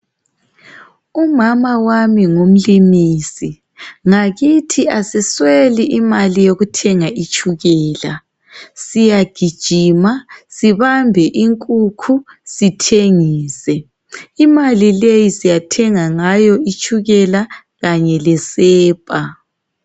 Umama wami ngumlimisi. Ngakithi asisweli imali yokuthenga itshukela. Siyagijima, sibambe inkukhu, sithengise. Imali leyi siyathenga ngayo itshukela kanye lesepa.